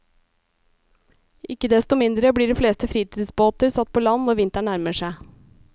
Ikke desto mindre blir de fleste fritidsbåter satt på land når vinteren nærmer seg.